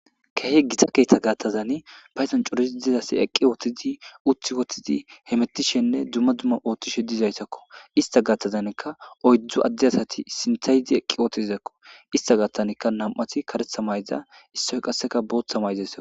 kehe gita keeththa gaattazani payzan curis dizasi eqqi ooththidi uthi wothidi hemettishenne dumma dumma oothtishe dizaytakko ista gaattazankka oydzdzu addi asati sinthaydi eqqi ootizakko ista gatanka nam7ati karetha mayza issoy qasseka booththa mayzaysa